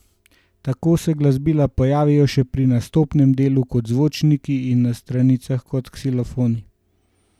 Tako se glasbila pojavijo še pri nastopnem delu kot zvončki in na stranicah kot ksilofoni.